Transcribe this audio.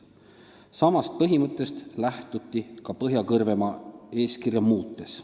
Samast põhimõttest lähtuti ka Põhja-Kõrvemaa eeskirja muutes.